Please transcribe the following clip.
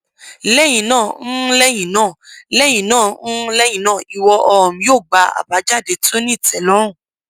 lẹhinna n lẹhinna lẹhinna n lẹhinna iwọ um yoo gba abajade ti o ni itẹlọrun